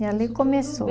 E ali começou.